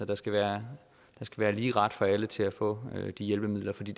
der skal være være lige ret for alle til at få de hjælpemidler for det